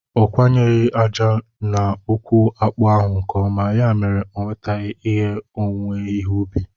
Ọ kọnyeghi aja na ukwu akpu ahụ nke ọma, ya mere onwetaghi ihe n'owuwe ihe ubi